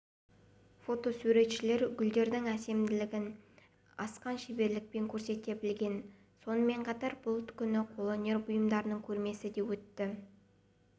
фотосуретшілер гүлдердің әдемілігін асқан шеберлікпен көрсете білген сонымен қатар бұл күні қолөнер бұйымдарының көрмесі де өтті